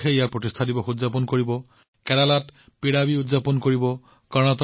অন্ধ্ৰ প্ৰদেশে প্ৰতিষ্ঠা দিৱস উদযাপন কৰিব কেৰালা পিৰাভি উদযাপন কৰা হব